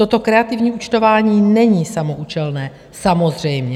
Toto kreativní účtování není samoúčelné, samozřejmě.